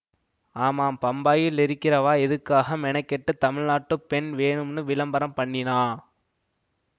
ஆமாம் பம்பாயிலிருக்கிறவா எதுக்காக மெனக்கெட்டுத் தமிழ்நாட்டுப் பெண் வேணும்னு விளம்பரம் பண்ணினா